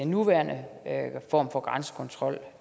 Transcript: nuværende form for grænsekontrol